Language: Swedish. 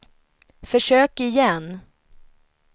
försök igen